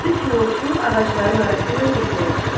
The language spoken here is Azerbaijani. Üç yolçu ağacların arasıyla getməyə başladı.